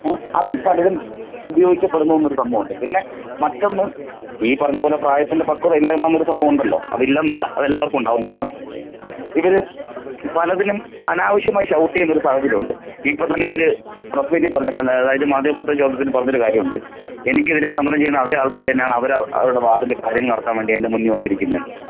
ഏഹ് അത് പലരും ഉപയോഗിക്കപ്പെടുന്നു എന്നൊരു സംഭവമുണ്ട് പിന്നെ മറ്റൊന്ന് ഈ പറഞ്ഞ പോലെ പ്രായത്തിന്റെ പക്വതയില്ലായ്മ എന്നൊരു സംഭവം ഉണ്ടല്ലോ. അതില്ലെന്നല്ല അത് എല്ലാവർക്കും ഉണ്ടാകുന്നതാണ് ഇവര് പലതിനും അനാവശ്യമായി ഷൗട്ട് യുന്നൊരു സാഹചര്യമുണ്ട്. ഇപ്പോ തന്നെ ഇവര് പ്രെസ്സ് മീറ്റ് പറഞ്ഞത് അതായത് മാധ്യമപ്രവർത്തക യോഗത്തിന് പറഞ്ഞൊരു കാര്യം ഉണ്ട് എനിക്ക് എതിരെ സമരം ചെയുന്ന അതെ ആൾകാർ തന്നെയാണ് അവരെ അവരുടെ വാർഡ് ൽ കാര്യങ്ങൾ നടത്താൻ വേണ്ടി എന്റെ മുന്നിൽ വന്നിരിക്കുന്നെന്ന്.